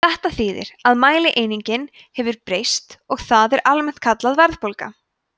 þetta þýðir að mælieiningin hefur breyst og það er almennt kallað verðbólga